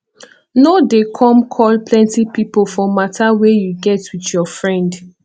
no dey come call plenty pipo for matter wey you get with your friend